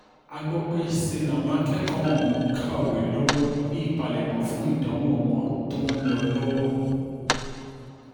a gbọ́ pé ṣe làwọn akẹ́kọ̀ọ́ ọ̀hún ń kàwé lọ́wọ́ ní ìpalẹ̀mọ́ fún ìdánwò wọn tó ń lọ lọ́wọ́